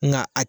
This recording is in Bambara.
Nka a